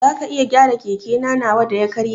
Zaka iya gyara keke nawa da ya karye?